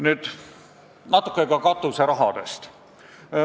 Nüüd natuke ka katuserahadest.